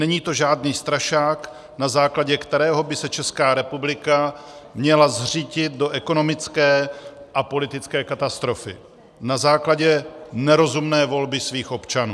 Není to žádný strašák, na základě kterého by se Česká republika měla zřítit do ekonomické a politické katastrofy na základě nerozumné volby svých občanů.